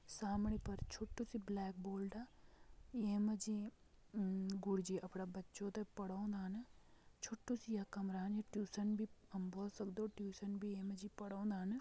सामणी पर छोटु सी ब्लैक बोर्डअ ये मा जी अम गुरु जी अपड़ा बच्चो तैं पड़ौंदान छोटु सी ये कमरान यू ट्यूशन भी हम बोल सकदु ट्यूशन भी ये मा जी पड़ौंदान।